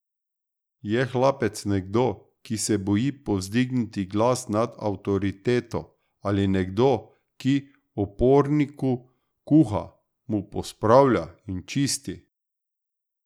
Je hlapec nekdo, ki se boji povzdigniti glas nad avtoriteto, ali nekdo, ki uporniku kuha, mu pospravlja in čisti?